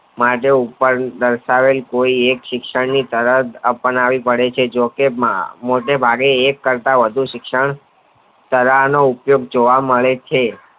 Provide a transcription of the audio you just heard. માટે ઉપર દર્શાવેલ કોઈ એક શિક્ષણ ની તણભ આપણે આવી પડે છે જોકે મૉટે ભાગે એક શિક્ષણ કરતા વધુ શિક્ષન તરાહ નો નવો અનુભવ કરે છે.